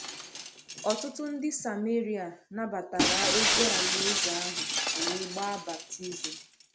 Ọtụtụ ndị Sameria nabatara ozi Alaeze ahụ wee gbaa baptizim.